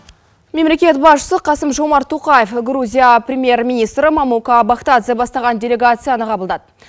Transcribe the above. мемлекет басшысы қасым жомарт тоқаев грузия премьер министрі мамука бахтадзе бастаған делегацияны қабылдады